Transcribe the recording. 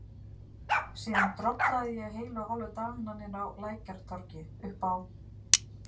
Síðan drollaði ég heilu og hálfu dagana niðrá Lækjartorgi, uppá